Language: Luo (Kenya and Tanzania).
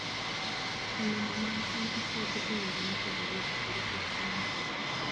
Olembe mag cham itiyogo e yore mopogore opogore e chiemo.